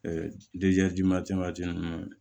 ninnu